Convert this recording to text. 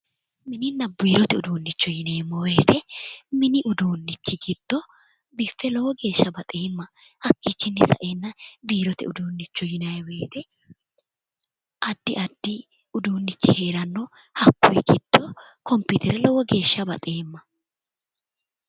Mininna biirote uduunnicho yineemmo woyte mini uduunnichi giddo biffe lowo geeshsha baxeemma. Hakkiichinni saeenna biirote uduunnichooti yinanni woyite addi addi uduunnichi heeranno. Hakkuri giddo kompiitere lowo geeshsha baxeemma.